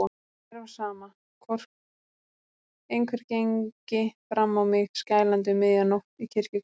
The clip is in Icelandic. Mér var sama, hvort einhver gengi fram á mig skælandi um miðja nótt í kirkjugarði.